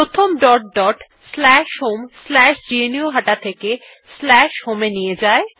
প্রথম আমাদের dot dot slash home slash গ্নুহাটা থেকে স্ল্যাশ হোম এ নিয়ে যায়